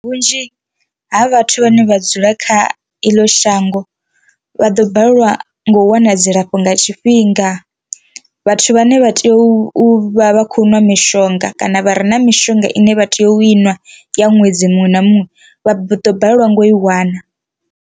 Vhunzhi ha vhathu vhane vha dzula kha iḽo shango vha ḓo balelwa no wana dzilafho nga tshifhinga, vhathu vhane vha tea u vha vha khou nwa mishonga kana vha re na mishonga ine vha tea u inwa ya ṅwedzi muṅwe na muṅwe vha ḓo balelwa ngo i wana.